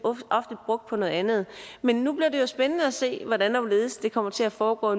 ofte brugt på noget andet men nu bliver det jo spændende at se hvordan og hvorledes det kommer til at foregå